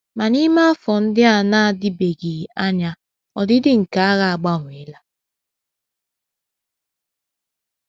Ma n’ime afọ ndị na - adịbeghị anya, ọdịdị nke agha agbanweela.